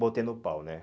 Botei no pau, né?